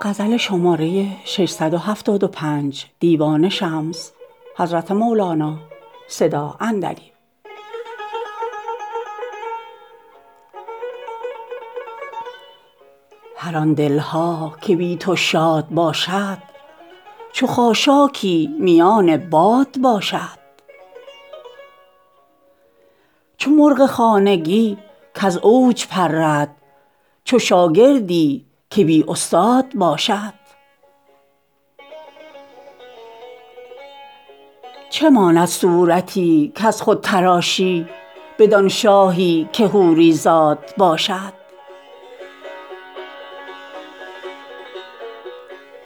هر آن دل ها که بی تو شاد باشد چو خاشاکی میان باد باشد چو مرغ خانگی کز اوج پرد چو شاگردی که بی استاد باشد چه ماند صورتی کز خود تراشی بدان شاهی که حوری زاد باشد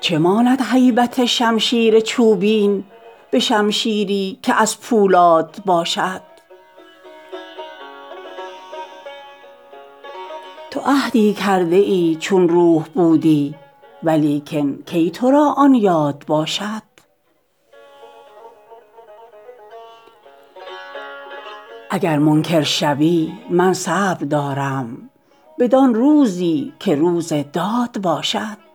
چه ماند هیبت شمشیر چوبین به شمشیری که از پولاد باشد تو عهدی کرده ای چون روح بودی ولیکن کی تو را آن یاد باشد اگر منکر شوی من صبر دارم بدان روزی که روز داد باشد